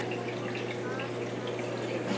Hvað var það þá?